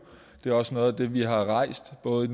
det er også noget af det vi har rejst både